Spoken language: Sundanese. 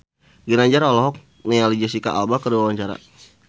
Ginanjar olohok ningali Jesicca Alba keur diwawancara